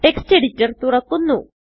text editor തുറക്കുന്നു